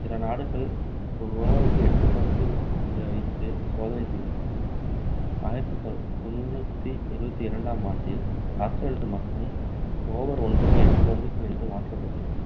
சில நாடுகள் ஒரு over க்கு எட்டு பந்து என்று வைத்து சோதனை செய்து பார்த்தன ஆயிரத்து தொ~ தொண்ணூற்று இருபத்து இரண்டாம் ஆண்டில் ஆஸ்திரேலியாவில் மட்டும் over க்கு எட்டு பந்துகள் என்று மாற்றப்பட்டன